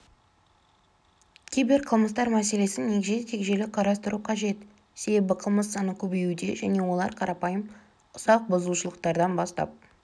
киберқылмыстар мәселесін егжей-тегжейлі қарастыру қажет себебі қылмыс саны көбеюде және олар қарапайым ұсақ бұзушылықтардан бастап